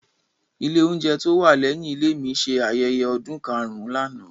Ilé oúnjẹ tó wà lẹ́yìn ilé mi ṣe ayẹyẹ ọdún karùn-ún lánàá.